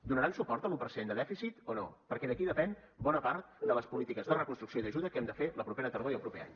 donaran suport a l’un per cent de dèficit o no perquè d’aquí depèn bona part de les polítiques de reconstrucció i d’ajuda que hem de fer la propera tardor i el proper any